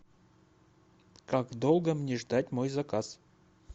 как долго мне ждать мой заказ